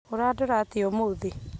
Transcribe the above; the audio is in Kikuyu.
Ũrandora atĩa ũmũthĩ?